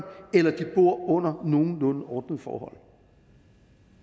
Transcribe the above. eller om de bor under nogenlunde ordnede forhold